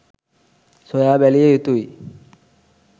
සොයා බැලිය යුතුය.